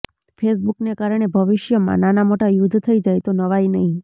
ફેસબુકને કારણે ભવિષ્યમાં નાના મોટા યુદ્ધ થઇ જાય તો નવાઇ નહિ